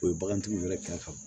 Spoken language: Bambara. O ye bagantigiw wɛrɛ ka